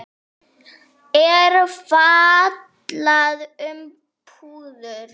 er fjallað um púður.